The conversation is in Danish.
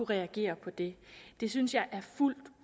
reagere på det det synes jeg er fuldt